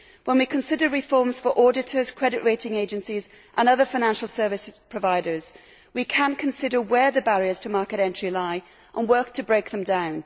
When we consider reforms for auditors, credit rating agencies and other financial services providers, we can consider where the barriers to market entry lie, and work to break them down.